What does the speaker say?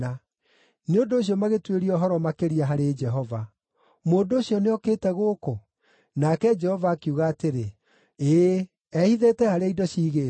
Nĩ ũndũ ũcio magĩtuĩria ũhoro makĩria harĩ Jehova, “Mũndũ ũcio nĩokĩte gũkũ?” Nake Jehova akiuga atĩrĩ, “Ĩĩ, ehithĩte harĩa indo ciigĩtwo.”